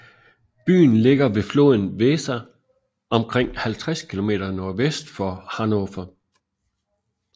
Byen ligger ved floden Weser omkring 50 kilometer nordvest for Hannover